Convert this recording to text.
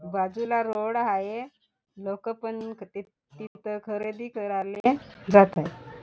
बाजूला रोड हाय लोक पण तिथ खरेदी कराले जात आहेत.